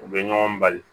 U bɛ ɲɔgɔn bali